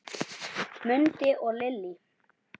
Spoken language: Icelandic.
Mundi og Lillý.